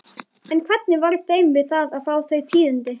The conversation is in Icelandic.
En hvernig varð þeim við að fá þau tíðindi?